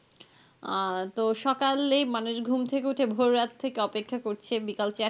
আহ তো সকালেই মানুষ ঘুম থেকে উঠে ভোর রাত থেকে অপেক্ষা করছে, বিকাল চারটা